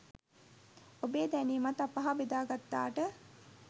ඔබේ දැනීමත් අප හා බෙදා ගත්තාට